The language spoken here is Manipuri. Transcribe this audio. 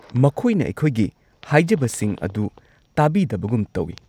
ꯃꯈꯣꯏꯅ ꯑꯩꯈꯣꯏꯒꯤ ꯍꯥꯏꯖꯕꯁꯤꯡ ꯑꯗꯨ ꯇꯥꯕꯤꯗꯕꯒꯨꯝ ꯇꯧꯋꯤ꯫